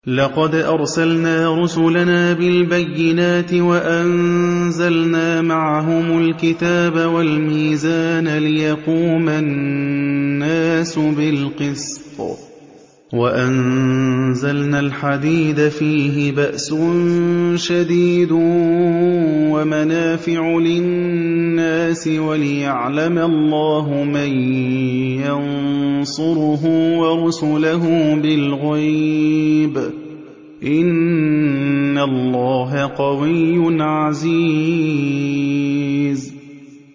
لَقَدْ أَرْسَلْنَا رُسُلَنَا بِالْبَيِّنَاتِ وَأَنزَلْنَا مَعَهُمُ الْكِتَابَ وَالْمِيزَانَ لِيَقُومَ النَّاسُ بِالْقِسْطِ ۖ وَأَنزَلْنَا الْحَدِيدَ فِيهِ بَأْسٌ شَدِيدٌ وَمَنَافِعُ لِلنَّاسِ وَلِيَعْلَمَ اللَّهُ مَن يَنصُرُهُ وَرُسُلَهُ بِالْغَيْبِ ۚ إِنَّ اللَّهَ قَوِيٌّ عَزِيزٌ